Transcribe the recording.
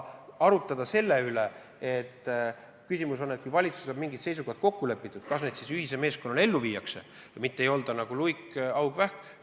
Kui valitsuses on mingid seisukohad kokku lepitud, siis tuleb need ühise meeskonnana ellu viia, mitte tegutseda nagu luik, haug ja vähk.